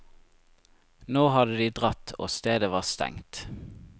Nå hadde de dratt og stedet var stengt.